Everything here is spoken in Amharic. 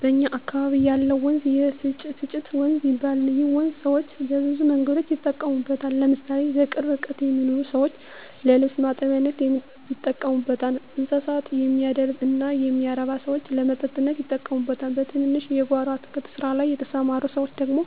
በእኛ አካበቢ ያለው ወንዝ የፈጭፍጭት ወንዝ ይባላል ይህ ወንዝ ሰወች በብዙ መንገዶች ይጠቀሙበታል ለምሳሌ በቅርብ ርቀት የሚኖሩ ሰወች ለልብስ ማጠቢያነት ይጠቀሙበታል: እንስሳት የሚያደልብ እና የሚያረብ ሰወች ለመጠጥነት ይጠቀሙበታል በትንንሽ የጎሮ አትክልት ስራ ላይ የተስማሩ ሰወች ደግሞ